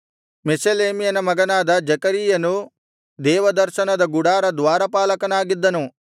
ಮೆಷೆಲೆಮ್ಯನ ಮಗನಾದ ಜೆಕರೀಯನು ದೇವದರ್ಶನದ ಗುಡಾರ ದ್ವಾರಪಾಲಕನಾಗಿದ್ದನು